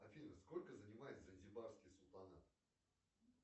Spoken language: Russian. афина сколько занимает занзибарский султанат